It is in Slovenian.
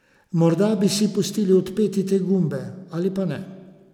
Morda bi si pustili odpeti te gumbe ali pa ne.